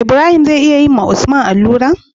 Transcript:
Ibrahim zai iya yi wa usman alura?